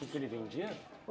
Que que ele vendia?